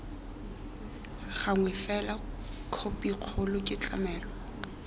gangwe fela khopikgolo ke tlamelo